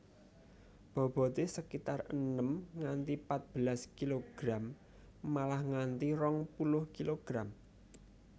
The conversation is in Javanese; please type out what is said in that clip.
Bobote sekitar enem nganti patbelas kilogram malah nganti rong puluh kilogram